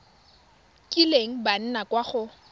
kileng ba nna kwa go